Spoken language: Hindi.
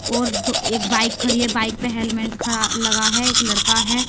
और तो एक बाइक खड़ी है। बाइक पे हेलमेट लगा है एक लड़का है।